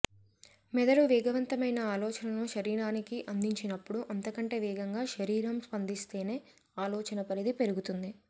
మెదడు వేగవంతమైన ఆలోచనను శరీరానికి అందించినప్పుడు అంతకంటే వేగంగా శరీరం స్పందిస్తేనే ఆలోచన పరిధి పెరుగుతుంది